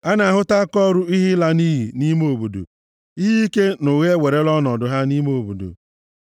A na-ahụta akaọrụ ihe ịla nʼiyi nʼime obodo; ihe ike na ụgha ewerela ọnọdụ ha nʼime obodo.